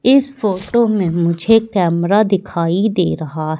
इस फोटो में मुझे कैमरा दिखाई दे रहा--